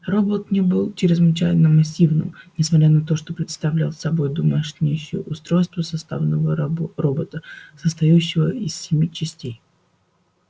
робот не был чрезвычайно массивным несмотря на то что представлял собой думающее устройство составного робота состоявщего из семи частей